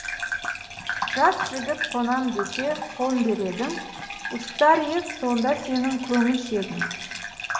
жас жігіт қонам десе қон дер едің ұстар ед сонда сенің көңілшегің